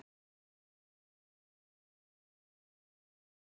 Magnús Hlynur Hreiðarsson: Hvað var erfiðast í, við þessa keppni?